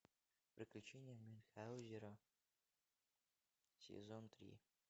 приключения мюнхаузена сезон три